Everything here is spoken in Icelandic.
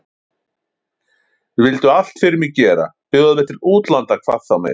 Vildu allt fyrir mig gera, bjóða mér til útlanda hvað þá meir.